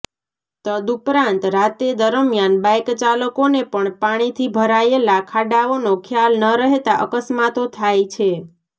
તદ્ઉપરાંત રાતેદરમિયાન બાઇકચાલકોને પણ પાણીથી ભરાયેલા ખાડાઓનો ખ્યાલ ન રહેતા અકસ્માતો થાય છે